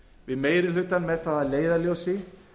við meiri hlutann með það að leiðarljósi